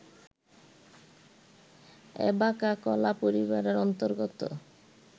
অ্যাবাকা কলা পরিবারের অন্তর্গত